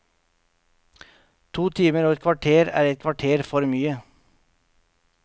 To timer og et kvarter er et kvarter for mye.